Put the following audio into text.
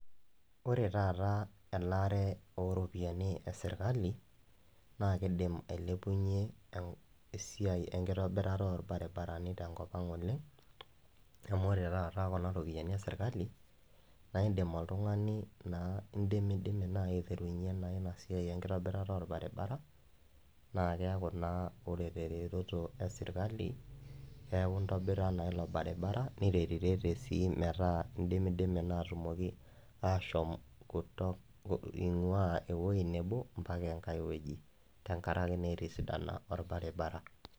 Ore taata elaare oropiyani eserkali na kidim ailepunye esiai enkitobirata orbaribarani tenkopang oleng amu ore taata kunaropiyani eserkali na indim oltungani na indimidimi na aiterunye inasiai enkitobirata orbaribara naa keaku naa ore teretoro eserkali neaku intobira na ilobaribara niretirete si metaa indimidimi na metaa ashom ingua ewoi nabo amu etisadana orbaribara.